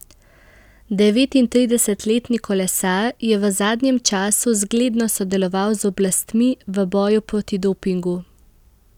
Devetintridesetletni kolesar je v zadnjem času zgledno sodeloval z oblastmi v boju proti dopingu.